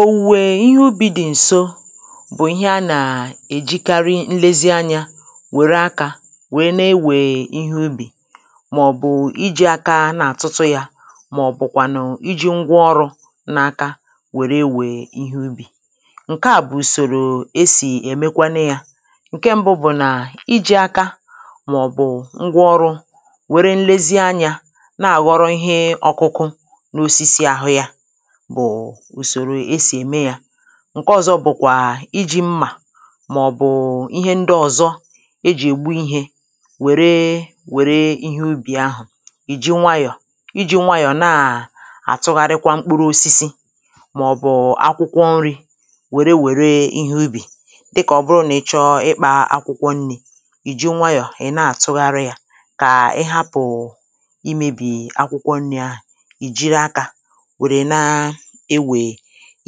Òwùwè ihe ubī dị̀ ǹso bụ̀ ihe anà èjikari nlezi anyā wère akā wee na-ewè ihe ubì màọ̀bụ̀ ijī aka na-àtụtụ yā màọ̀bụ̀kwànù ijī ngwaọrụ̄ n’aka wère ewè ihe ubì ǹke à bụ̀ ùsòrò esì èmekwanu yā ǹke mbụ bụ̀ nà ijī aka màọ̀bụ̀ ngwaọrụ̄ wèrè nlezi anyā na-àghọrọ ihe ọ̀kụkụ n’osisi àhụ yā bụ̀ ùsòrò esì ème yā ǹke ọ̀zọ bụ̀kwà ijī mmà màọ̀bụ̀ ihe ndị ọ̀zọ ejì ègbu ihē wère wère ihe ubì ahụ̀ ị̀ ji nwayọ̀ ijī nwayò naà àtụgharikwa mkpụru ̣osisi màọ̀bụ̀ akwụkwọ nrī wère wère ihe ubì dịkà ọ bụrụ nà ị chọ ịkpā akwụkwọ nnī ị̀ ji nwayọ̀ ị̀ na àtụgharị yā kà ị hapụ̀ imēbì akwụkwọ nnī ahà ị jiri akā wère na ewè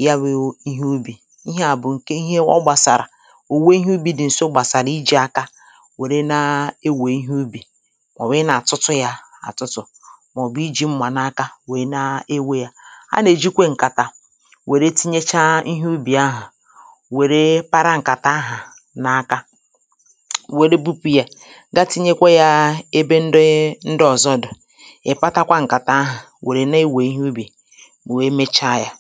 yawụ̄ ihe ubì ihe à bụ̀ kè ihe ọ gbàsàrà ò nwe ihe ubì dị ǹso gbàsàrà ijī aka wère na-ewè ihe ubì màọ̀wụ̀ ịnā àtụtụ yā àtụtụ̀ màọ̀bụ̀ ijī mmà n’aka wee na ewē yā anà èjikwe ǹkàtà wère tinyecha ihe ubì ahà wère para ǹkàtà ahà n’aka wère bupụ̄ yā ga tinyekwa yā ebe ndị ndị ọ̀zọ dụ̀ ị̀ patakwa ǹkàtà ahà wère na-ewè ihe ubì wee mecha yā